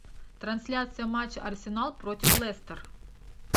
трансляция матча арсенал против лестер